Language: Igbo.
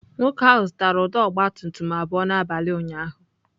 Nwoke ahụ zụtara ụdọ ọgabtumtum abụọ n'abalị ụnyaahụ.